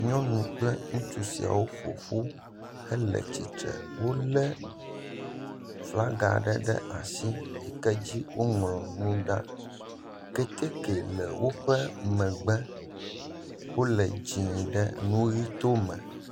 Nyɔnu kple ŋutsu siawo ƒoƒu hele tsitre, wolé flaga ɖe ɖe asi, si dzi woŋlɔ nu ɖa, keteke le woƒe megbe, wole dzɛ̃ ɖe nu ʋi to eme.